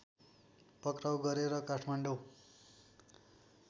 पक्राऊ गरेर काठमाडौँ